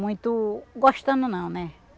Muito... gostando não, né?